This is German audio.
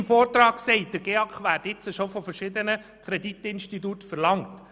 Im Vortrag wird gesagt, der GEAK werde bereits jetzt von verschiedenen Kreditinstituten verlangt.